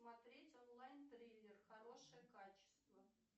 смотреть онлайн триллер хорошее качество